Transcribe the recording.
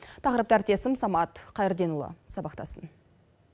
тақырыпты әріптесім самат қайырденұлы сабақтасын